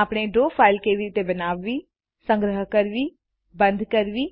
આપણે draw file કેવી રીતે બનાવવીસંગ્રહ કરવીબંધ કરવી